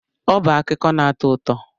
Ọ bụ akụkọ na-atọ ụtọ.